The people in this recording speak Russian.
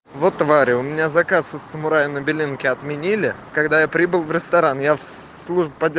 вот твари у меня заказ из самураи на белинке отменили когда я прибыл в ресторан я в службу поддер